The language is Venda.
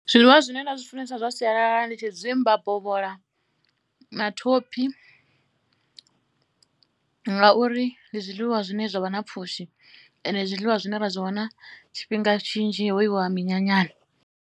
Zwiḽiwa zwine nda zwi funesa zwa sialala ndi tshidzimba, bovhola na thophi ngauri ndi zwiḽiwa zwine zwa vha na pfhushi and ndi zwiḽiwa zwine ra zwi wana tshifhinga tshinzhi ho yiwa minyanyani.